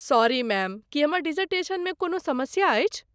Sorry ma'am, की हमर डिजर्टेशनमे कोनहु समस्या अछि?